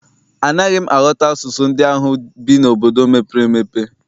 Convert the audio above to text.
Anaghị m aghọta asụsụ ndị ahụ bi n'obodo mepere emepe.